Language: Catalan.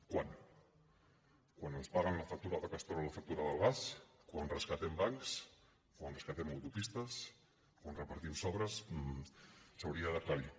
quan quan ens fan pagar la factura de castor a la factura del gas quan rescatem bancs quan rescatem autopistes quan repartim sobres s’hauria d’aclarir